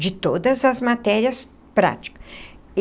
De todas as matérias prática.